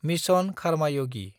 mission खारमायगि